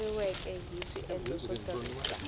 seketeriweke hi swiendlo swo tirhisa